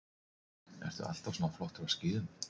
Hödd: Ertu alltaf svona flottur á skíðum?